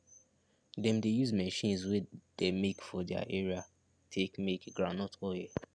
dem dey use machines wey de make for their area take make groundnut oil